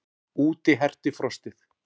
Úti herti frostið.